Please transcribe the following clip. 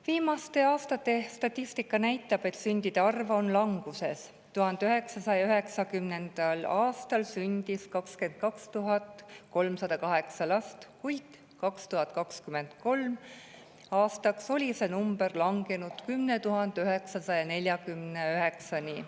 Viimaste aastate statistika näitab, et sündide arv on languses: 1990. aastal sündis 22 308 last, kuid 2023. aastaks oli see number langenud 10 949-ni.